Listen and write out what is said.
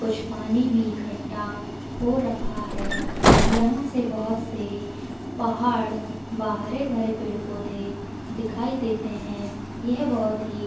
कुछ पानी में इकट्ठा हो रखा है यहाँ से बहोत से पहाड़ व हरे-भरे पेड़-पौधे दिखाई देते हैं यह बहोत ही--